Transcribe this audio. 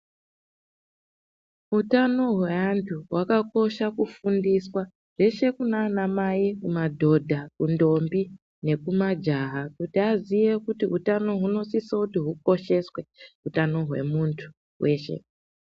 Utano hweantu hwakakosha kufundiswa zveshe kunana mai, kumadhodha, kundombi nekumajaha kuti aziye kuti utano hunosise kuti hukosheswe hutano hwemuntu weshe.